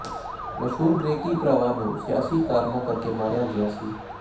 ਮਸ਼ਹੂਰ ਗ੍ਰੇਕਕੀ ਭਰਾਵਾਂ ਨੂੰ ਸਿਆਸੀ ਕਾਰਨਾਂ ਕਰਕੇ ਮਾਰਿਆ ਗਿਆ ਸੀ